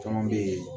Caman bɛ yen